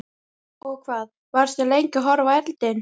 Og hvað, varstu lengi að horfa á eldinn?